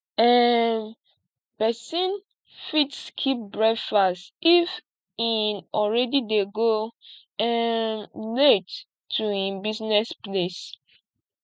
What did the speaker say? um persin fit skip breakfast if e already de go um late to im buisiness place